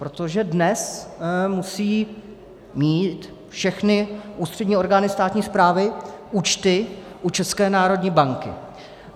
Protože dnes musí mít všechny ústřední orgány státní správy účty u České národní banky.